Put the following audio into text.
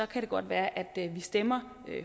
kan det godt være at vi stemmer